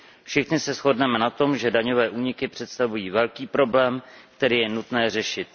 Všichni se shodneme na tom, že daňové úniky představují velký problém, který je nutné řešit.